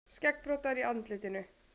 Skeggbroddar í andlitinu.